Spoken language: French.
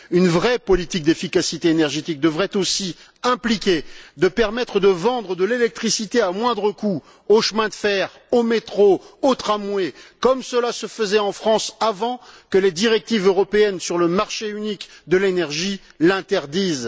Une vraie politique d'efficacité énergétique devrait aussi impliquer la possibilité de vendre de l'électricité à moindre coût aux chemins de fer, aux métros, aux tramways, comme cela se faisait en France avant que les directives européennes sur le marché unique de l'énergie ne l'interdisent.